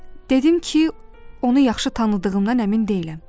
Dedim ki, onu yaxşı tanıdığımdan əmin deyiləm.